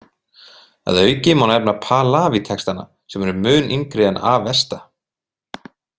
Að auki má nefna Pahlavi-textana sem eru mun yngri en Avesta.